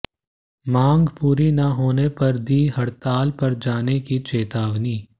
मांग पूरी न होने पर दी हड़ताल पर जाने की चेतावनी